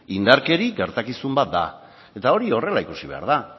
indarkeria gertakizun bat da eta hori horrela ikusi behar da